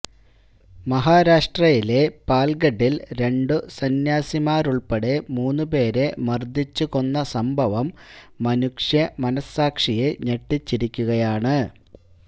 മഹാരാഷ്ട്രയിലെ പാല്ഗഡില് രണ്ടു സംന്യാസിമാരുള്പ്പെടെ മൂന്നു പേരെ മര്ദ്ദിച്ചു കൊന്ന സംഭവം മനുഷ്യ മനഃസാക്ഷിയെ ഞെട്ടിച്ചിരിക്കുകയാണ്